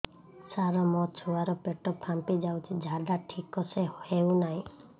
ସାର ମୋ ଛୁଆ ର ପେଟ ଫାମ୍ପି ଯାଉଛି ଝାଡା ଠିକ ସେ ହେଉନାହିଁ